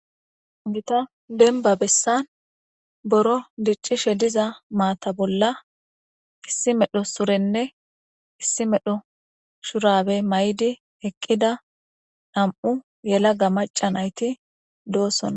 Gita demiba besani biro dicishshe diza mata bola issi medhosurenne diza surenne issi medho shurabe mayidi eqida namu yelaga maca nayit dosona